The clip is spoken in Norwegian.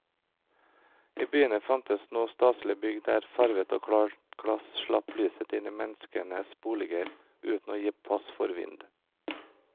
I byene fantes nå staselige bygg der farvet og klart glass slapp lyset inn i menneskenes boliger uten å gi pass for vind.